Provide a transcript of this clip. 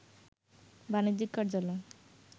বাণিজ্যিক কার্যালয়